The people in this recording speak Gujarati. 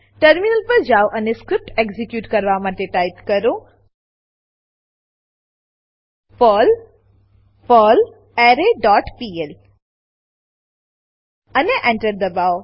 ટર્મિનલ પર જાવ અને સ્ક્રીપ્ટ એક્ઝીક્યુટ કરવા ટાઈપ કરો પર્લ પર્લરે ડોટ પીએલ અને Enter દબાવો